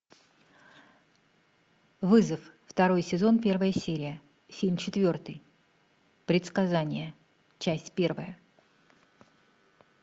вызов второй сезон первая серия фильм четвертый предсказание часть первая